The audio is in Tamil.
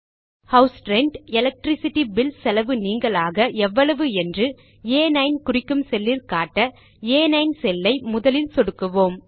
ஹவுஸ் ரென்ட் எலக்ட்ரிசிட்டி பில் செலவு நீங்கலாக எவ்வளவு என்று ஆ9 குறிக்கும் செல்லில் காண ஆ9 செல் ஐ முதலில் சொடுக்குவோம்